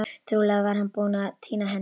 Trúlega var hann bara búinn að týna henni.